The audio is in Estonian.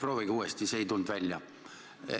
Proovige uuesti, see ei tulnud välja.